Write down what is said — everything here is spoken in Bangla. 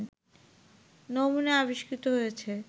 নমুনা আবিষ্কৃত হয়েছে